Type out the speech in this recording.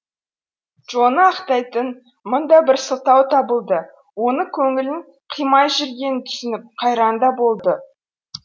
джоны ақтайтын мың да бір сылтау табылды оны көңілін қимай жүргенін түсініп қайран да болды